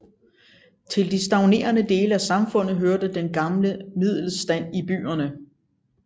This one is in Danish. Til de stagnerende dele af samfundet hørte den gamle middelstand i byerne